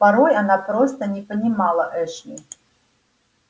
порой она просто не понимала эшли